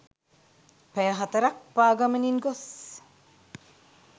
පැය 4 ක් පාගමනින් ගොස්